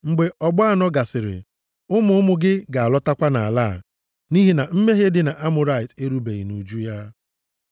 Mgbe ọgbọ anọ gasịrị, ụmụ ụmụ gị ga-alọtakwa nʼala a. Nʼihi na mmehie ndị Amọrait erubeghị nʼuju ya.”